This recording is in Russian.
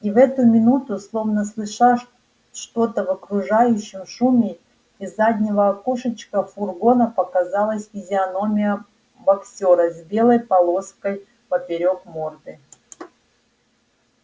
и в эту минуту словно слыша что-то в окружающем шуме из заднего окошечка фургона показалась физиономия боксёра с белой полосой поперёк морды